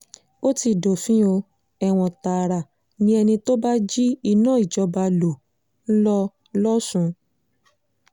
ó ti dófin o ẹ̀wọ̀n tààrà ni ẹni tó bá jí iná ìjọba ló ń lọ lọ́sùn